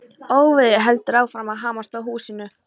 Óveðrið heldur áfram að hamast á húsinu.